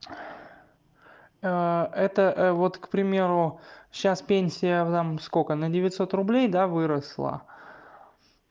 это вот к примеру сейчас пенсия там сколько на девятьсот рублей да выросла